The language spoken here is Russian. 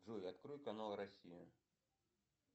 джой открой канал россия